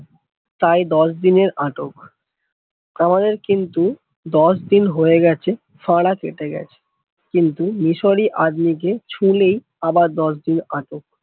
তাই দশ দিন এর আটক আমাদের কিন্তু দশ দিন হয়ে গেছে ফাঁড়া কেটে গাছে, কিন্তু মিশরী আদমি কে ছুঁলেই আবার দশ দিন আটক